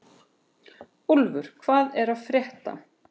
Úlfur, hvað er að frétta?